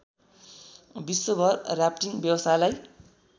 विश्वभर राफ्टिङ व्यवसायलाई